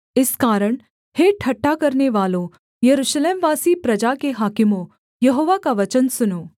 इस कारण हे ठट्ठा करनेवालों यरूशलेमवासी प्रजा के हाकिमों यहोवा का वचन सुनो